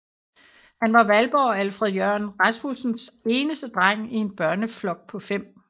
Han var Valborg og Alfred Jørgen Rasmussens eneste dreng i en børneflok på 5